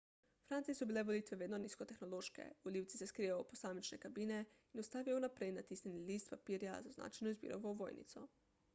v franciji so bile volitve vedno nizkotehnološke volivci se skrijejo v posamične kabine in vstavijo vnaprej natisnjeni list papirja z označeno izbiro v ovojnico